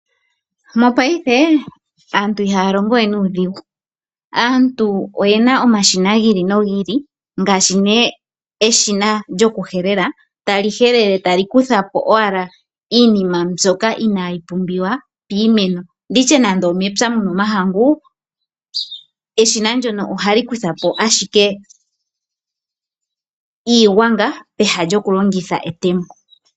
Mopaife aantu ihaa longo we nuudhigu, aantu oyena omashina gi ili nogi ili ngaashi nee eshina lyokuhelela, tali helele tali kuthapo owala iinima mbyoka inaayi pumbiwa piimeno, nditye nando omepya muna omahangu, eshina ndyono ohali kutha po ashike iigwanga peha lyokulongitha etemo.